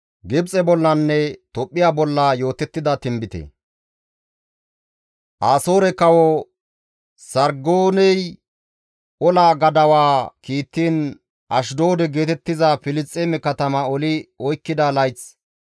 Asoore kawo Sarggooney ola gadawaa kiittiin Ashdoode geetettiza Filisxeeme katama oli oykkida layth,